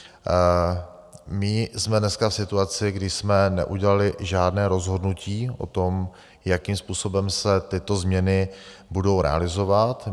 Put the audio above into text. My jsme dneska v situaci, kdy jsme neudělali žádné rozhodnutí o tom, jakým způsobem se tyto změny budou realizovat.